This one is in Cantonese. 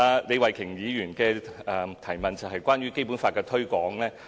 李慧琼議員的補充質詢是有關《基本法》的推廣。